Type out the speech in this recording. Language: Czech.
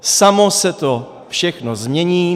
Samo se to všechno změní.